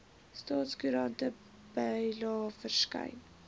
staatskoerant bylae verskyn